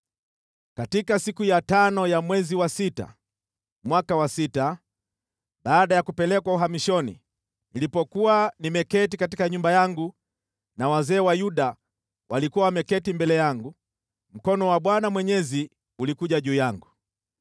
Katika siku ya tano ya mwezi wa sita mwaka wa sita, baada ya kupelekwa uhamishoni nilipokuwa nimeketi katika nyumba yangu na wazee wa Yuda walikuwa wameketi mbele yangu, mkono wa Bwana Mwenyezi ulikuja juu yangu.